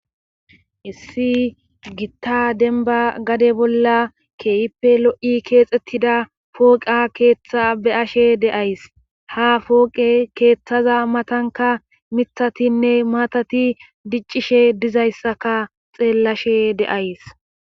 issi gitta denba gade bolla keeyippe lo'i keexxettida pooqa keeththa be'ashe deays ha fooqe keeththaza matanka mithatinne maatati diccishe dizayssaka xeellashe de'ays